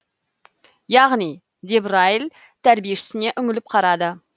яғни деп райл тәрбиешісіне үңіліп қарады